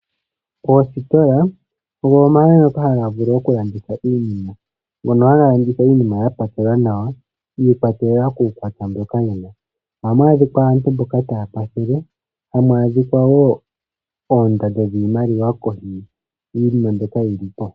Oositola odho omahala ngoka haga vulu okulanditha iinima, mono haga landitha iinima ya pakelwa nawa, yi ikwatelela kuukwatya wiinima mbyoka yena. Ohamu adhika aantu mboka taya pakele, hamu adhika wo oondando dhiimaliwa dhili kohi, dhiinima mbyoka yili po.